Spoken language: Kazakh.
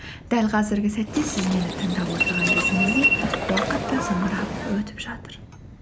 дәл қазіргі сәтте сіз мені тыңдап отырған кезіңізде уақыт та зымырап өтіп жатыр